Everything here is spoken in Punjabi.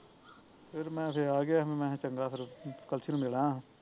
ਫਿਰ ਮੈਂ ਫਿਰ ਆ ਗਿਆ ਮੈਂ ਕਿਹਾਂ ਚੰਗਾ ਫਿਰ ਕਲਸੀ ਨੂੰ ਮਿਲ ਆਇਆ ਸਾ